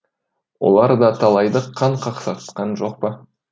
олар да талайды қан қақсатқан жоқ па